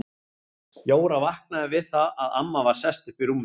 Jóra vaknaði við það að amma var sest upp í rúminu.